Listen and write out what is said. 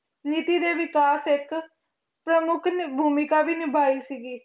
ਨੀਤੀ ਦੇ ਵਿਕਾਸ ਇੱਕ ਪ੍ਰਮੁੱਖ ਨ~ ਭੂਮਿਕਾ ਵੀ ਨਿਭਾਈ ਸੀਗੀ।